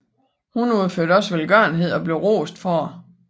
Hun udførte også velgørenhed og blev rost for dette